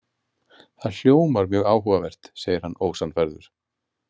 Það hljómar mjög áhugavert, segir hann ósannfærður.